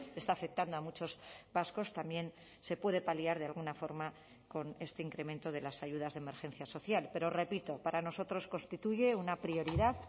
está afectando a muchos vascos también se puede paliar de alguna forma con este incremento de las ayudas de emergencia social pero repito para nosotros constituye una prioridad